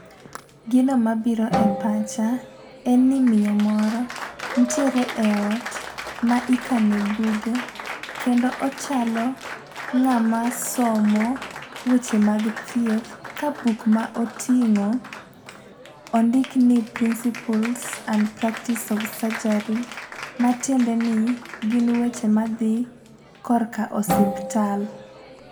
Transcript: Gino mabiro e pacha, en ni miyo moro nitiere e ot ma ikane buge , kendo ochalo ng'ama somo weche mag thieth, ka buk ma oting'o ondik ni principles and practise of surgery ma tiende ni, gin weche madhi korka osuptal.